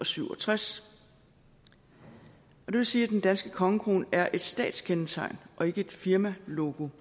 syv og tres det vil sige at den danske kongekrone er et statskendetegn og ikke et firmalogo